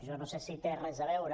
jo no sé si hi té res a veure